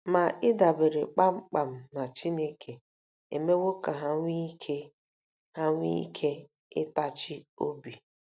Ma ịdabere kpam kpam na Chineke emewo ka ha nwee ike ha nwee ike ịtachi obi.